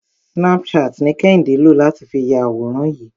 Snapchat ni Kẹ́hìndé lò láti fi ya àwòrán yìí.